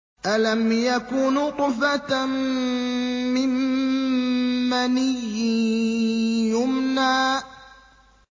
أَلَمْ يَكُ نُطْفَةً مِّن مَّنِيٍّ يُمْنَىٰ